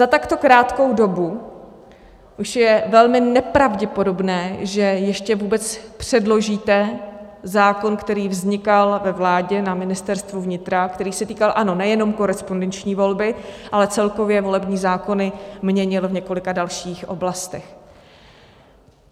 Za takto krátkou dobu už je velmi nepravděpodobné, že ještě vůbec předložíte zákon, který vznikal ve vládě na Ministerstvu vnitra, který se týkal, ano, nejenom korespondenční volby, ale celkově volební zákony měnil v několika dalších oblastech.